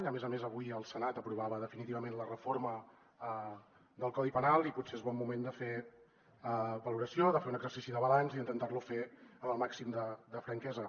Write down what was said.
a més a més avui el senat aprovava definitivament la reforma del codi penal i potser és bon moment de fer valoració de fer un exercici de balanç i intentar lo fer amb el màxim de franquesa